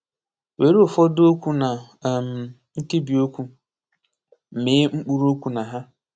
Were ụfọdụ okwu na um nkebiokwu, mee mkpụrụokwu na ha.